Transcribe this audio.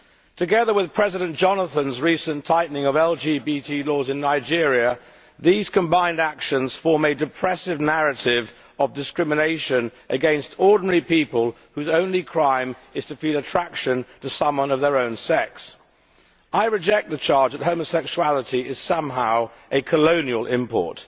Together with President Jonathan's recent tightening of LGBT laws in Nigeria, these combined actions form a depressive narrative of discrimination against ordinary people whose only crime is to feel attraction to someone of their own sex. I reject the charge that homosexuality is somehow a colonial import.